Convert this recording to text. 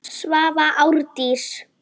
Svava Árdís.